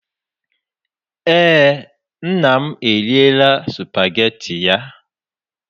Eé, nna m eriela supageti ya.